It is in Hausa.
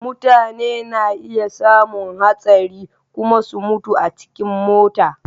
Mutane na iya samun hastari kuma su mutu a cikin mota.